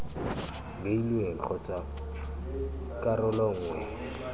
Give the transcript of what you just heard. beilweng kgotsa ii karolo nngwe